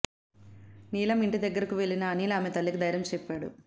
నీలమ్ ఇంటి దగ్గరకు వెళ్లిన అనిల్ ఆమె తల్లికి ధైర్యం చెప్పాడు